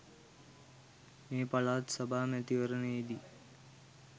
මේ පළාත් සභා මැතිවරණයේදී